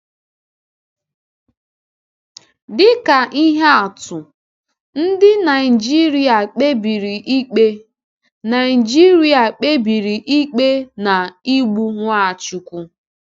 Dịka ihe atụ, ndị Naịjíríà kpebiri ikpe Naịjíríà kpebiri ikpe na igbu Nwachukwu.